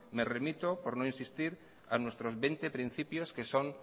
me remito por no insistir a nuestros veinte principios que son